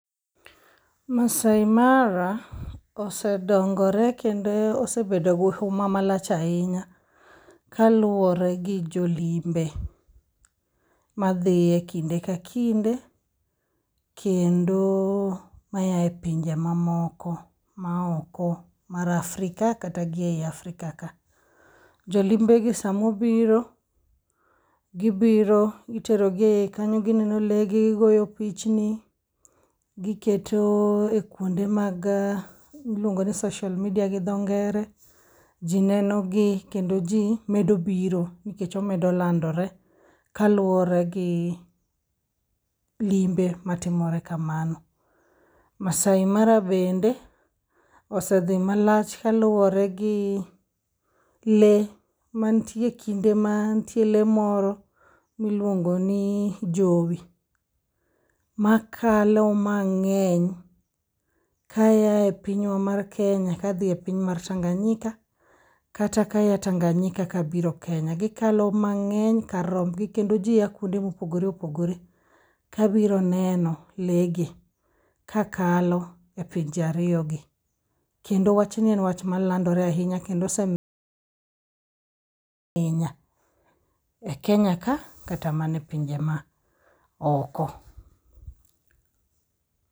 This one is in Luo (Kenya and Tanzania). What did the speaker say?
Maasai Mara osedongore kendo osebedo gi huma malach ahinya kaluwore gi jolimbe madhiye kinde ka kinde, kendo mayae pinje mamoko maoko mar Afrika kata gi ei Afrika ka. Jolimbegi samobiro, gibiro iterogi e iye kanyo gineno legi gigoyo pichni giketo e kwonde mag miluongo ni social media gi dho ngere. Ji nenogi kendo ji medo biro nikech omedo landore kaluwore gi limbe matimore kamano. Maasai Mara bende osedhi malach kaluwore gi le mantie kinde mantie le moro miluongoni jowi, makalo mag'eny kayae pinywa mar Kenya kadhi e piny mar Tanganyika kata kaya Tanganyika kabiro Kenya. Gikalo mang'eny kar rombgi kendo ji a kuonde mopogore opogore kabiro neno le gi kakalo e pinje ariyogi. Kendo wachni en wach malandore ahinya kendo ose e Kenya ka kata mana e pinje ma oko.